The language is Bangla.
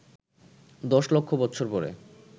দশ লক্ষ বৎসর পরে